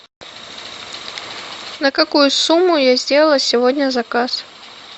на какую сумму я сделала сегодня заказ